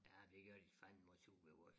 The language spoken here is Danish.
Ja det gør de fandme også ved vores